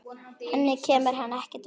Henni kemur hann ekkert við.